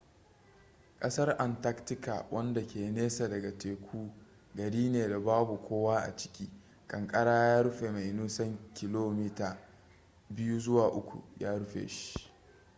kasar antarctica wanda ke nesa daga teku gari ne da babu kowa a ciki kankara ya rufe mai nisan km 2-3 ya rufe shi